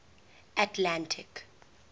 atlantic